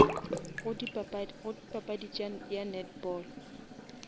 go papadi ya netball